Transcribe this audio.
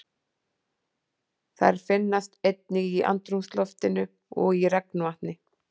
Þær finnast einnig í andrúmsloftinu og í regnvatni.